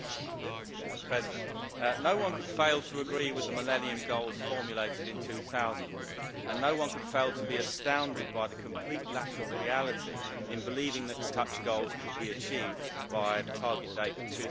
Madam President, no one could fail to agree with the Millennium Development Goals formulated in 2000, and no one could fail to be astounded by the complete lack of reality in believing that such goals could be achieved by the target date of